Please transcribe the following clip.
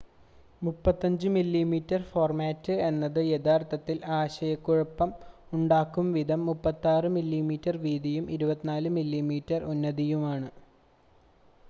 35mm format എന്നത് യഥാർത്ഥത്തിൽ, ആശയക്കുഴപ്പം ഉണ്ടാക്കുംവിധം 36mm വീതിയും 24mm ഉന്നതിയുമാണ്